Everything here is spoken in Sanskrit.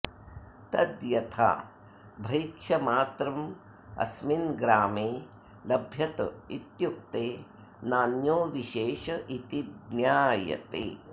तद्यथा भैक्षमात्रमस्मिन्ग्रामे लभ्यत इत्युक्ते नान्यो विशेष इति ज्ञायते